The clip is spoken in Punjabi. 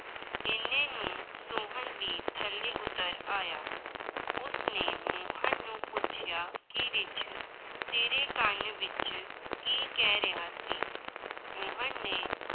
ਇੰਨੇ ਨੂੰ ਸੋਹਨ ਵੀ ਥੱਲੇ ਉੱਤਰ ਆਇਆ, ਉਸਨੇ ਮੋਹਨ ਨੂੰ ਪੁੱਛਿਆ ਕਿ ਰਿੱਛ ਤੇਰੇ ਕੰਨ ਵਿੱਚ ਕੀ ਕਹਿ ਰਿਹਾ ਸੀ, ਮੋਹਨ ਨੇ